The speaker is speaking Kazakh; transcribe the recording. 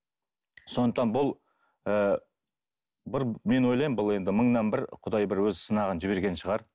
сондықтан бұл ыыы бір мен ойлаймын бұл енді мыңнан бір құдай бір өз сынағын жіберген шығар